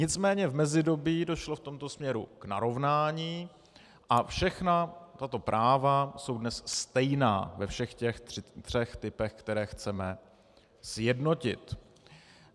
Nicméně v mezidobí došlo v tomto směru k narovnání a všechna tato práva jsou dnes stejná ve všech těch třech typech, které chceme sjednotit.